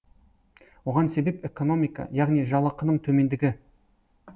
оған себеп экономика яғни жалақының төмендігі